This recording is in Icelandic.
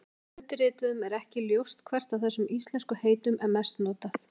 Undirrituðum er ekki ljóst hvert af þessum íslensku heitum er mest notað.